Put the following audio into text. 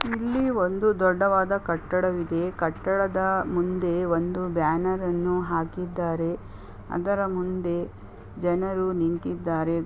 ಇಲ್ಲಿ ಒಂದು ದೊಡ್ಡವಾದ ಕಟ್ಟಡವಿದೆ. ಈ ಕಟ್ಟಡದ ಮುಂದೆ ಒಂದು ಬ್ಯಾನರ್ ಅನ್ನು ಹಾಕಿದ್ದಾರೆ ಅದರ ಮುಂದೆ ಜನರು ನಿಂತಿದ್ದಾರೆ.